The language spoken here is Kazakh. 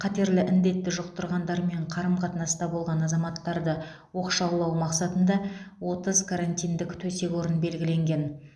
қатерлі індетті жұқтырғандармен қарым қатынаста болған азаматтарды оқшаулау мақсатында отыз карантиндік төсек орын белгіленген